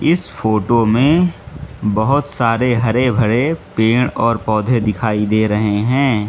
इस फोटो में बहोत सारे हरे भरे पेड़ और पौधे दिखाई दे रहे हैं।